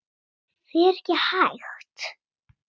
Það er ekki hægt